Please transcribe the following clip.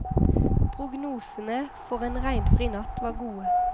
Prognosene for en regnfri natt var gode.